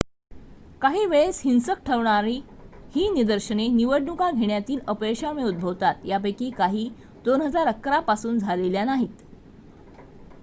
काही वेळेस-हिंसक ठरणारी ही निदर्शने निवडणुका घेण्यातील अपयशामुळे उद्भवतात यापैकी काही 2011 पासून झालेल्या नाहीत